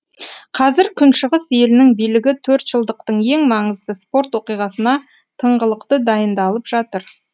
қазір күншығыс елінің билігі төртжылдықтың ең маңызды спорт оқиғасына тыңғылықты дайындалып жатыр